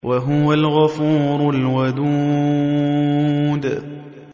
وَهُوَ الْغَفُورُ الْوَدُودُ